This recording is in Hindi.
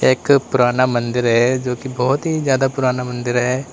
एक पुराना मंदिर है जो की बहुत ही ज्यादा पुराना मंदिर है।